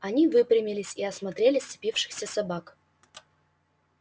они выпрямились и осмотрели сцепившихся собак